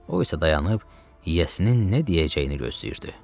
O isə dayanıb yiyəsinin nə deyəcəyini gözləyirdi.